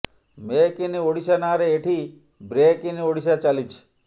make in Odisha ନାଁରେ ଏଠି break in Odisha ଚାଲିଛି